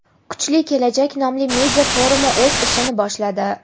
kuchli kelajak nomli media-forumi o‘z ishini boshladi.